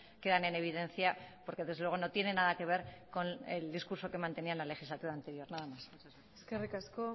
quedan en evidencia porque desde luego no tiene nada que ver con el discurso que mantenían en la legislatura anterior nada más eskerrik asko